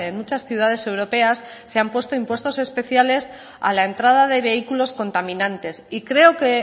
muchas ciudades europeas se han puesto impuestos especiales a la entrada de vehículos contaminantes y creo que